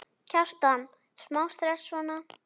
Kjartan: Smá stress, svona?